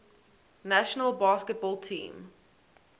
national basketball team